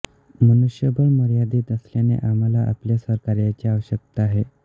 मनुष्यबळ मर्यादित असल्याने आम्हाला आपल्या सहकार्याची आवश्यकता आहे